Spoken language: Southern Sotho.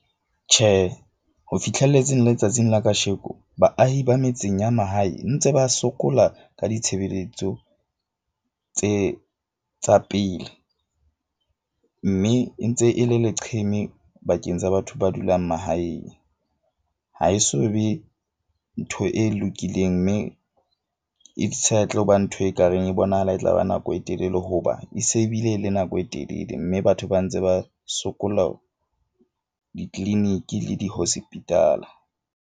Tjhe, ho fihlelletse letsatsing la kasheko baahi ba metseng ya mahae ntse ba sokola ka ditshebeletso, tse tsa pele mme e ntse e le leqheme bakeng sa batho ba dulang mahaeng. Ha e so be ntho e lokileng mme e sa tlo ba ntho ekareng e bonahala e tla ba nako e telele. Hoba e se e bile le nako e telele. Mme batho ba ntse ba sokola di-clinic-i le di-hospital-a.